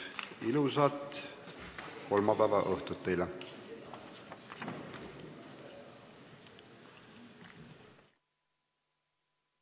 Ilusat kolmapäevaõhtut teile!